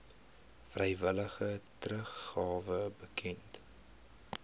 vrywillige teruggawe bekend